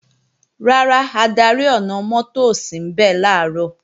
Rárá, adarí ọ̀nà-mọ́tò ò sínbẹ̀ làárọ̀